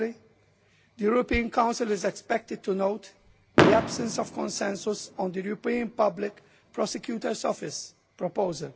Lastly, the European Council is expected to note the absence of consensus on the European Public Prosecutor's Office proposal,